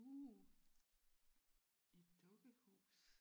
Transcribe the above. Uh et dukkehus!